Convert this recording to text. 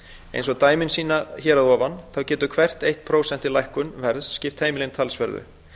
eins og dæmin hér að ofan sýna þá getur hvert eitt prósent í lækkun verðs skipt heimilin talsverðu